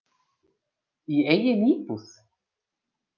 Í eigin íbúð.